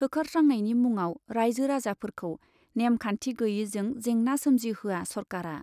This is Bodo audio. होखारस्रांनायनि मुङाव राइजो राजाफोरखौ नेमखान्थि गैयैजों जेंना सोमजिहोया सरकारआ ।